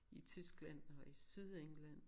I Tyskland og i Sydengland